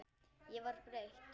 Ég var breytt.